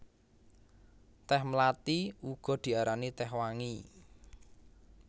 Tèh mlathi uga diarani tèh wangi